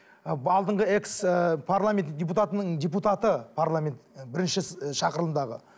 ы алдыңғы экс ыыы парламенті депутатының депутаты парламент бірінші шақырылымдағы